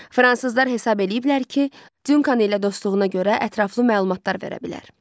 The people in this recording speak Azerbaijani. Fransızlar hesab eləyiblər ki, Cunkana ilə dostluğuna görə ətraflı məlumatlar verə bilər.